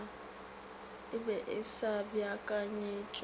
e be e sa beakanyetšwa